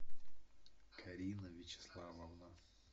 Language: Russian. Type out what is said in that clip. карина вячеславовна